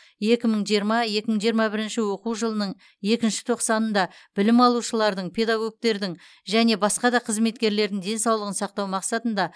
екі мың жиырма екі мың жиырма бірінші оқу жылының екінші тоқсанында білім алушылардың педагогтердің және басқа қызметкерлердің денсаулығын сақтау мақсатында